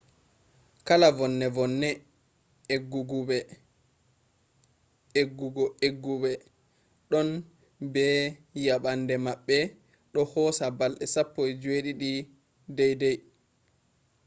kala vonne-vonne eggu'egguɓe ɗon be yabande maɓɓe do hosa balɗe 17 dai-dai